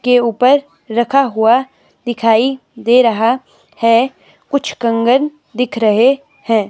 के ऊपर रखा हुआ दिखाई दे रहा है कुछ कंगन दिख रहे हैं।